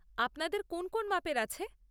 আপনাদের কোন কোন মাপের আছে?